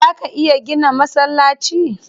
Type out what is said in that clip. Zaa ka iya gina masallaci?